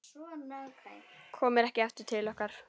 Komir ekki aftur til okkar.